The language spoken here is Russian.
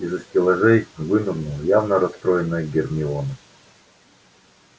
из-за стеллажей вынырнула явно расстроенная гермиона